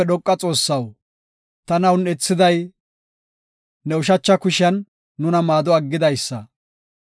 Ubbaafe Dhoqa Xoossaw, tana un7ethiday, ne ushacha kushiyan nuna maado aggidaysa.